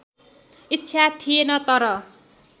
इच्छा थिएन तर